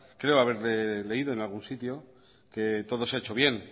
creo haberle leído en algún sitio que todo se ha hecho bien